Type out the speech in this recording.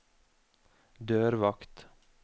dørvakt